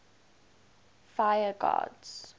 fire gods